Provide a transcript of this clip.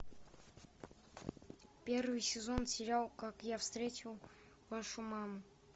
первый сезон сериал как я встретил вашу маму